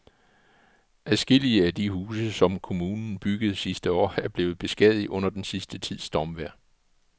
Adskillige af de huse, som kommunen byggede sidste år, er blevet beskadiget under den sidste tids stormvejr.